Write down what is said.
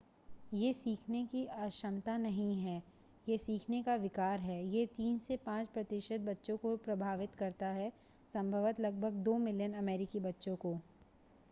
यह सीखने की अक्षमता नहीं है यह सीखने का विकार है यह 3 से 5 प्रतिशत बच्चों को प्रभावित करता है संभवतः लगभग 2 मिलियन अमेरिकी बच्चों को